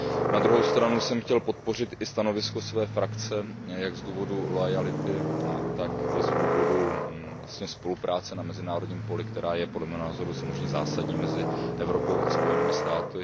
Na druhou stranu jsem chtěl podpořit i stanovisko své frakce jak z důvodu loajality, tak i z důvodu spolupráce na mezinárodním poli, která je podle mého názoru zásadní mezi Evropou a Spojenými státy.